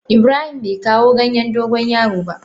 Ibrahim bai kawo ganyen dogon yaro ba.